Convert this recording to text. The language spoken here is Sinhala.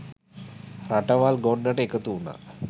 රටවල් ගොන්නට එකතු වුණා.